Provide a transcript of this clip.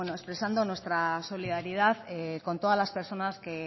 expresando nuestra solidaridad con todas las personas que